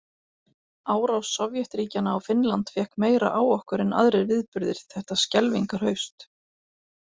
Árás Sovétríkjanna á Finnland fékk meira á okkur en aðrir viðburðir þetta skelfingarhaust.